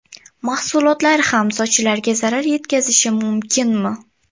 Mahsulotlar ham sochlarga zarar yetkazishi mumkinmi?